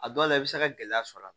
A dɔw la i bɛ se ka gɛlɛya sɔrɔ a la